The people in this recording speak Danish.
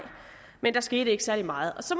men der skete ikke særlig meget så